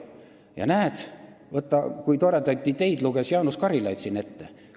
Ja näed, kui toredaid ideid Jaanus Karilaid siin ette luges.